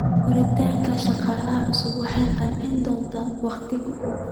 Qoritaanka shaqaale cusub waxay qaadan doontaa wakhti.